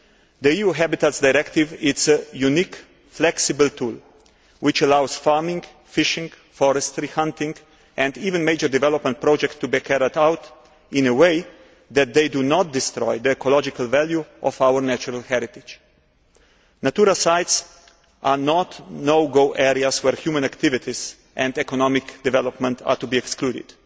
The EU Habitats Directive is a unique, flexible tool, which allows farming, fishing, forestry, hunting and even major development projects to be carried out in a way that does not destroy the ecological value of our natural heritage. Natura sites are not no go areas where human activities and economic development are to be excluded.